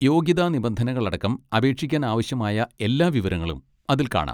യോഗ്യതാ നിബന്ധനകൾ അടക്കം അപേക്ഷിക്കാൻ ആവശ്യമായ എല്ലാ വിവരങ്ങളും അതിൽ കാണാം.